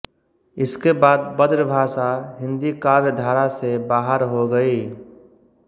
इसके बाद ब्रजभाषा हिंदी काव्य धारा से बाहर हो गई